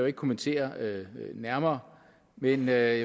at kommentere nærmere men jeg